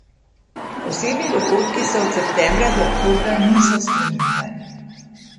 Osebni dohodki se od septembra do oktobra niso spreminjali.